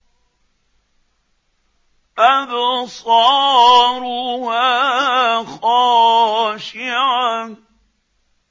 أَبْصَارُهَا خَاشِعَةٌ